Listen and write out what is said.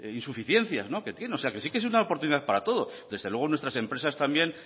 insuficiencias que tiene que sí que es una oportunidad para todos desde luego nuestras empresas también